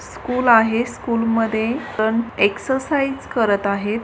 School आहे स्कूलमध्ये exercise करत आहे.